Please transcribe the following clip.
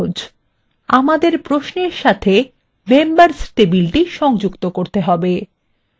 খুব সহজ আমাদের প্রশ্নের সাথে members table সংযুক্ত করব লিখুন :